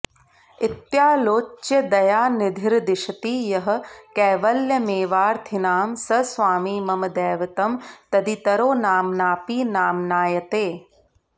इत्यालोच्य दयानिधिर्दिशति यः कैवल्यमेवार्थिनां स स्वामी मम दैवतं तदितरो नाम्नापि नाम्नायते